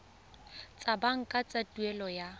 tsa banka tsa tuelo ya